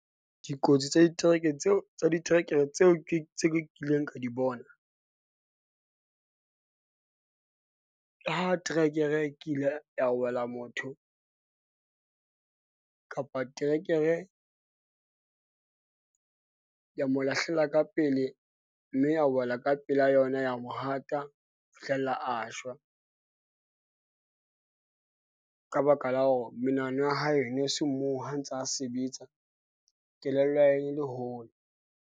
Dikotsi tsa diterekere tseo tsa diterekere tseo ke tse kileng ka di bona . Ha trekere, e kile ya wela motho, kapa trekere ya mo lahlela ka pele mme ya wela ka pela yona ya mohata ho fihlela a shwa . Ka baka la hore menahano ya hae e ne se moo ha ntsa a sebetsa. Kelello ya hae e le hole.